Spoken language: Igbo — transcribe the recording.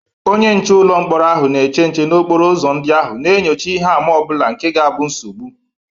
Onye nche ụlọ mkpọrọ ahụ na-eche nche n’okporo ụzọ ndị ahụ, na-enyocha ihe àmà ọ bụla nke ga abu nsogbu.